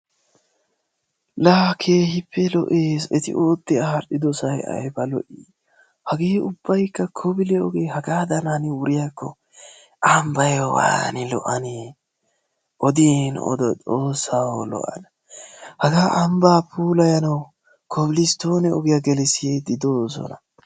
la hagee keehippe loo'ees. eeti ootti al'idoosay aybba lo'ii! hagee ubaykka koobile ogee hagaadan hanidi wuriyaakko ambbay waanidi lo'annee. oodiin odo xoossaw loo'ana. hagaa ambbaa puulayanawu kobilistoone oogiyaa giigisiidi doosona.